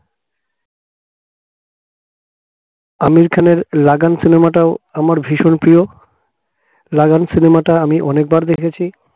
আমির খানের লাগান cinema টাও আমার ভীষণ প্রিয় লাগান cinema টা আমি অনেকবার দেখেছি